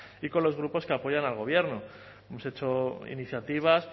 y con los grupos que apoyan al gobierno hemos hecho iniciativas